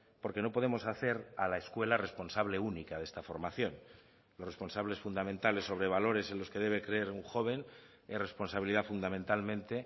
porque no podemos hacer a la escuela responsable única de esta formación los responsables fundamentales sobre valores en los que debe creer un joven es responsabilidad fundamentalmente